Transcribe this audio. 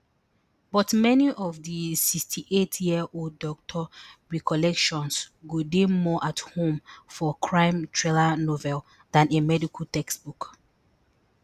but many of di sixty-eightyearold doctor recollections go dey more at home for crime thriller novel dan a medical textbook